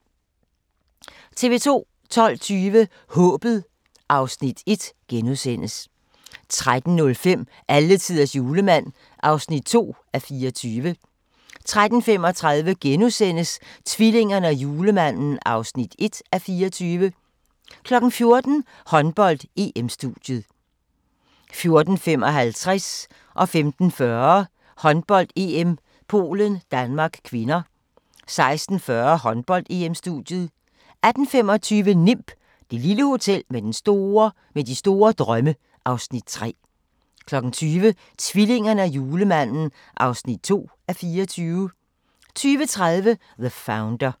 TV 2